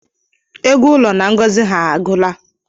Ego ụlọ na ngozi ha agụla